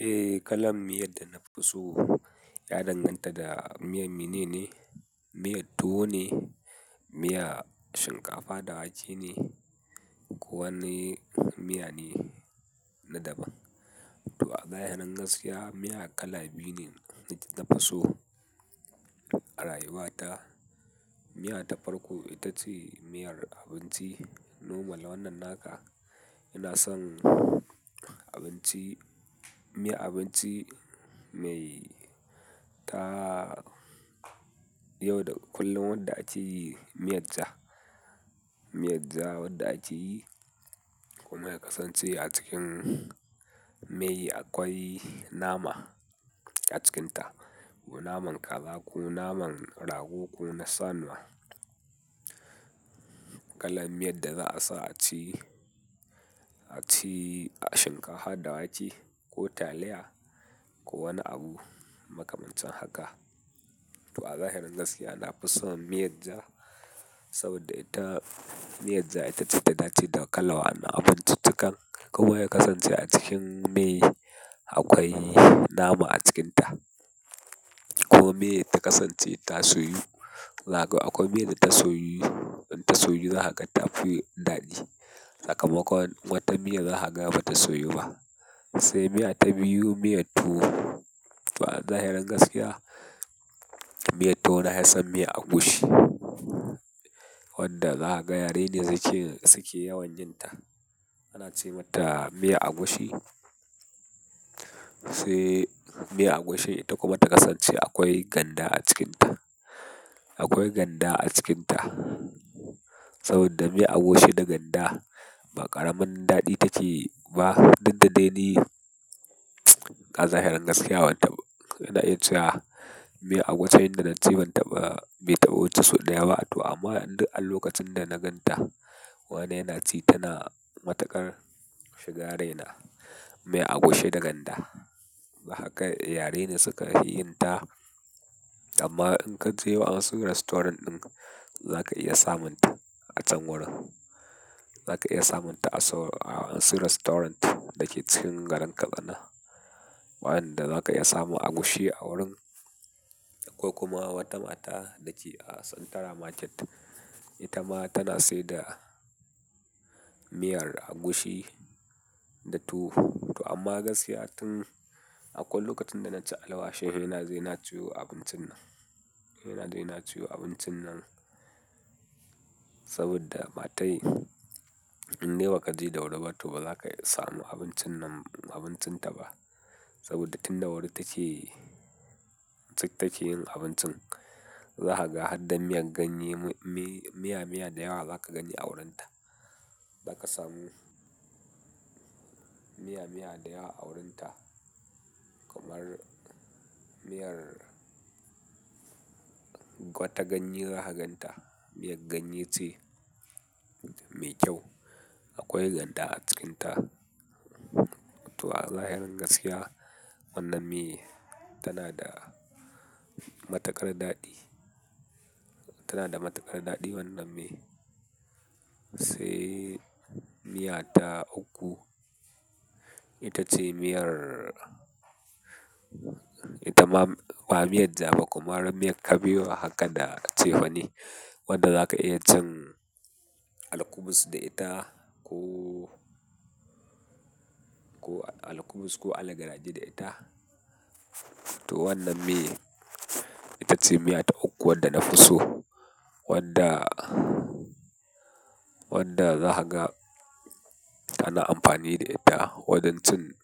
Eh, kalan miyar da na fi so ya danganta da miyar me ne ne. Miyar tuwo ne, miya shinkafa da wake ne ko wani miya ne na daban. To a zahirin gaskiya, miya kala biyu ne na fi so a rayuwata. Miyar ta farko ita ce miyar abinci normal wannan naka. Ina son abinci, miyan abinci mai ta yau da kullum wanda ake yi miyar ja. Miyar ja wanda ake yi kuma ya kasance a cikin mei akwai nama a cikinta, ko naman kaza ko naman rago ko na sanuya. Kalar miyar da za a sa a ci, a ci a shinkafa da wake ko taliya ko wani abu makamancin haka. To a zahirin gaskiya, na fi son miyar ja saboda ita, miyar ja ita ce ta dace da kalan wayannan abinci cikan kuma ya kasance a cikin mei akwai nama a cikinta. Ko mei ta kasance tasoyu, zaga akwai miya da tasoyu, tasoyu za ka gan ta fi daɗi. Sakamakon wata miyar za ka ga ba ta soyu ba. Sai miya ta biyu miyar tuwo. To a zahirin gaskiya, miyar tuwo na hi son miyar agushi wanda za ka ga yare ne suke yawan yinta. Ana ce mata miyar agushi, sai miyar agushi ita kuma ta kasance akwai ganda a cikinta. Akwai ganda a cikinta saboda miyar agushi da ganda ba ƙaramin daɗi take ba. Diddadai ni a zahirin gaskiya wanna, ina iya cewa miyar agushin da na ci ban taɓa, bai taɓa wuce sau ɗaya ba. To amma an lokacin da na gan ta wane yana ci tana matukar shiga raina. Miyar agushi da ganda, za ka ga yare ne suka fi yin ta. Amma in ka je wayansu restaurant ɗin za ka iya samun ta a can wurin. Za ka iya samun ta a wasu restaurant dake cikin garin Katsina. Wayanda za ka iya samu agushi a wurin ko kuma wata mata dake a Centara Market. Ita ma tana saida miyar agushi da tuwo. To amma gaskiya tun akwai lokacin da na ci alwashin, he naje na ciyo abincin nan. Ina zai na ciyo abincin nan saboda matai in dai ba ka je da wuri ba to ba za ka samu abincin nan, abincin ta ba. Saboda tun da wuri take, take yin abincin. Za ka ga har da miyan ganye, miya, miya da yawa za ka gani a wurin ta. Za ka samu miya, miya da yawa a wurin ta kamar miyar kwata ganye za ka gan ta. Miyar ganye ce mai kyau. Akwai ganda a cikinta. To a zahirin gaskiya, wannan miya tana da matakar daɗi. Tana da matakar daɗi wannan mi. Sai miya ta uku, ita ce miyar, ita ba miyar ja ba komar miyar ta kabewa haka da cefane. Wadda za ka iya cin alkubus da ita ko, ko alkubus ko algaraji da ita. To wannan mi ita ce miya ta uku wadda na fi so. Wadda, wadda za ka ga tana amfani da ita wajen cin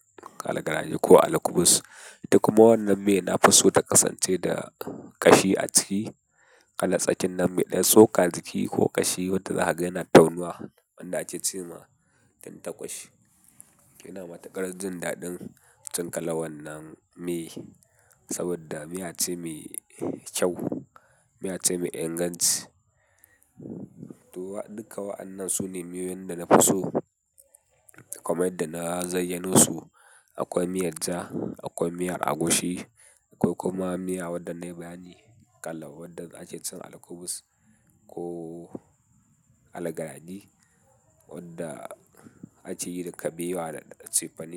algaraji ko alkubus. Ita kuma wannan mi na fi so ta kasance da kashi a ciki. Kala tsakin nan me ɗan, tsoka a ciki ko kashi wadda za ka ga yana taunuwa wanda ake ce ma tantaƙwashi. Ina matakar jin daɗin cin kalan wannan mi saboda miya ce mai kyau, miya ce mai inganci. To duka wa'annan su ne miyoyin da na fi so kamar yadda na zayyanosu. Akwai miyar ja, akwai miyar agushi akwai kuma miya wadda na yi bayani kala wadda ake cin alkubus ko algaraji wadda ake yi da kabewa da cefane.